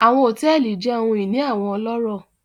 Àwọn hotẹẹli jẹ ohun ini awọn ọlọrọ